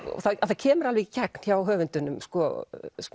það kemur alveg í gegn hjá höfundinum sko